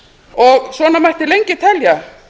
og svona mætti lengi telja